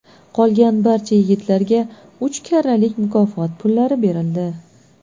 Qolgan barcha yigitlarga uch karralik mukofot pullari berildi.